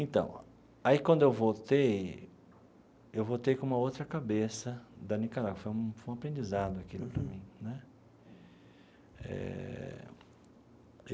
Então, aí quando eu voltei, eu voltei com uma outra cabeça da Nicarágua, foi um foi um aprendizado aquilo para mim né eh.